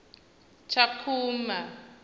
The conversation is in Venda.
tshakhuma